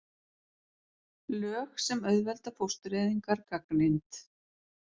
Lög sem auðvelda fóstureyðingar gagnrýnd